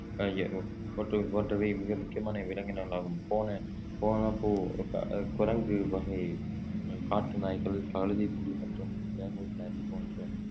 போன்ற~ போன்றவை மிக முக்கியமான விலங்கினங்களாகும் போன போன போ~ அஹ் குரங்கு வகை காட்டு உம் நாய்கள் கழுதைப்புலி மற்றும் லெமூர் நரி போன்ற